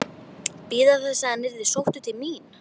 Bíða þess að hann yrði sóttur til mín?